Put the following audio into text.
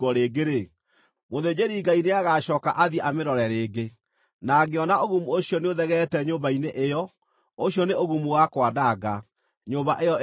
mũthĩnjĩri-Ngai nĩagacooka athiĩ amĩrore rĩngĩ, na angĩona ũgumu ũcio nĩũthegeete nyũmba-inĩ ĩyo, ũcio nĩ ũgumu wa kwananga; nyũmba ĩyo ĩrĩ na thaahu.